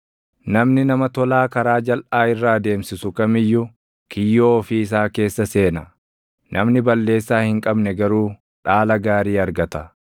Namni nama tolaa karaa jalʼaa irra adeemsisu kam iyyuu kiyyoo ofii isaa keessa seena; namni balleessaa hin qabne garuu dhaala gaarii argata.